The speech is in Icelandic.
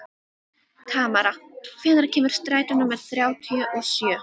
Tamara, hvenær kemur strætó númer þrjátíu og sjö?